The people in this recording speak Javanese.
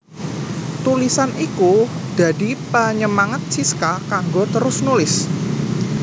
Tulisan iku dadi panyemangat Siska kanggo terus nulis